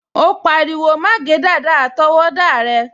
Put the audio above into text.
O pariwo, "má gé dàda àtọwọ́dá rẹ"